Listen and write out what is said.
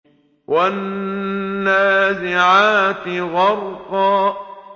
وَالنَّازِعَاتِ غَرْقًا